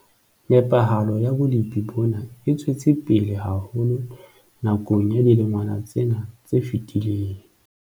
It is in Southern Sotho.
Nepahalo ya bolepi bona e tswetse pele haholo nakong ya dilengwana tsena tse fetileng.